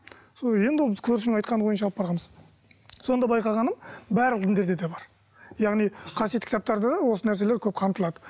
сол енді ол біз көршінің айтқаны бойынша алып барғанбыз сонда байқағаным барлық діндерде де бар яғни қасиетті кітаптарда да осы нәрселер көп қамтылады